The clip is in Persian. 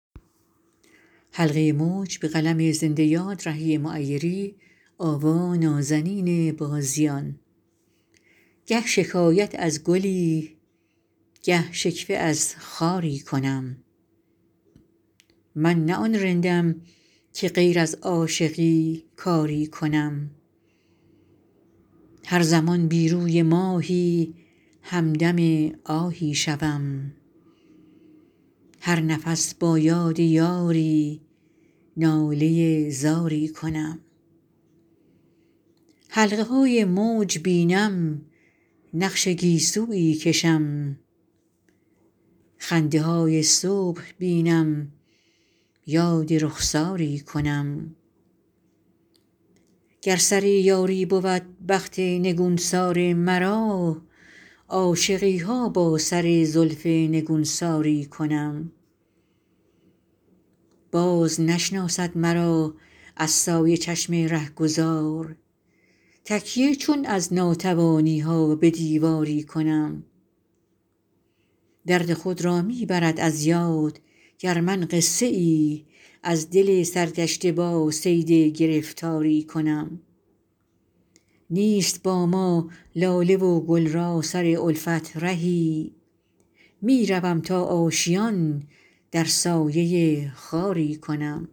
گه شکایت از گلی گه شکوه از خاری کنم من نه آن رندم که غیر از عاشقی کاری کنم هر زمان بی روی ماهی همدم آهی شوم هر نفس با یاد یاری ناله زاری کنم حلقه های موج بینم نقش گیسویی کشم خنده های صبح بینم یاد رخساری کنم گر سر یاری بود بخت نگونسار مرا عاشقی ها با سر زلف نگونساری کنم باز نشناسد مرا از سایه چشم رهگذار تکیه چون از ناتوانی ها به دیواری کنم درد خود را می برد از یاد گر من قصه ای از دل سرگشته با صید گرفتاری کنم نیست با ما لاله و گل را سر الفت رهی می روم تا آشیان در سایه خاری کنم